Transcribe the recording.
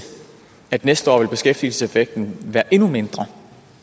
at næste år ville beskæftigelseseffekten være endnu mindre